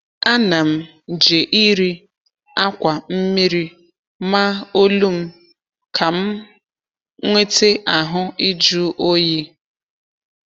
Ana m jeiri akwa mmiri maa olu m ka m nwete ahụ ịjụ oyi.